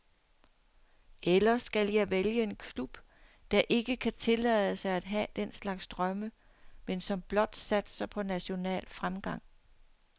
Eller skal jeg vælge en klub, der ikke kan tillade sig at have den slags drømme, men som blot satser på national fremgang?